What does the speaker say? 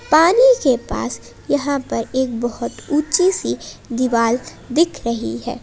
पानी के पास यहां पर एक बहोत ऊंची सी दीवाल दिख रही है।